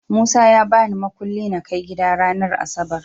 Musa ya babi mukuli nakai gida ranar asabar